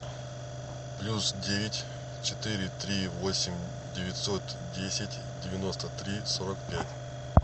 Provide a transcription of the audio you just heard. плюс девять четыре три восемь девятьсот десять девяносто три сорок пять